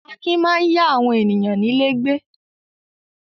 Akin máa yá àwọn ènìyàn nílé gbé.